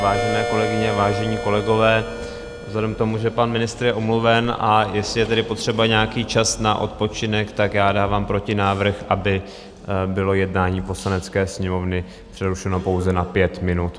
Vážené kolegyně, vážení kolegové, vzhledem k tomu, že pan ministr je omluven, a jestli je tedy potřeba nějaký čas na odpočinek, tak já dávám protinávrh, aby bylo jednání Poslanecké sněmovny přerušeno pouze na pět minut.